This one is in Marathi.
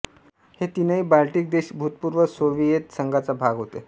हे तीनही बाल्टिक देश भूतपूर्व सोवियेत संघाचा भाग होते